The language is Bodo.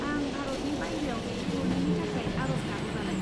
आं भारतनि बायह्रायाव दैथायहरनायनि थाखाय आर'ज गाबोबालाय?